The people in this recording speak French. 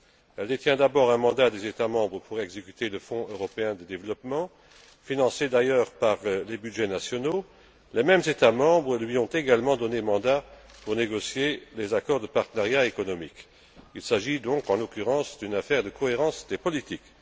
Elle détient d'abord un mandat des États membres pour exécuter le Fonds européen de développement, financé d'ailleurs par les budgets nationaux. Les mêmes États membres lui ont également donné mandat pour négocier des accords de partenariat économique. Il s'agit donc, en l'occurrence, d'une affaire de cohérence des politiques.